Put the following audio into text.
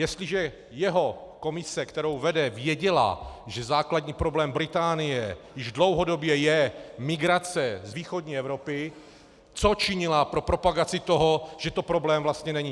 Jestliže jeho komise, kterou vede, věděla, že základní problém Británie již dlouhodobě je migrace z východní Evropy, co činila pro propagaci toho, že to problém vlastně není?